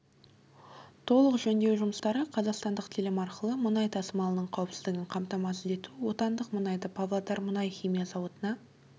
толық жөндеу жұмыстары қазақстандық телім арқылы мұнай тасымалының қауіпсіздігін қамтамасыз ету отандық мұнайды павлодар мұнай-химия зауытына